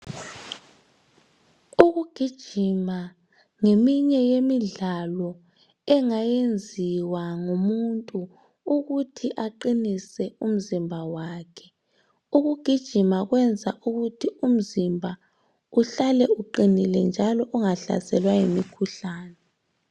Ukugijima ngeminye yemidlalo engayenziwa ngumuntu ukuthi aqinise umzimba wakhe. Ukugijima kwenza ukuthi umzimba uhlale uqinile njalo ungahlaselwa yimikhuhlane.